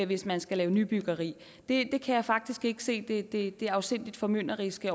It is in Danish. hvis man skal lave nybyggeri det kan jeg faktisk ikke se det det afsindig formynderiske